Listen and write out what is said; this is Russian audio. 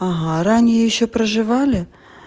ага ранее ещё проживали